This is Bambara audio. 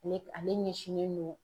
Ale ale ɲɛsinnen don